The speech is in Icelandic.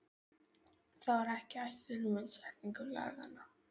Það var ekki ætlunin með setningu laganna.